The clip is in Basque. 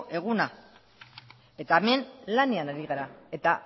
eguna eta hemen lanean ari gara eta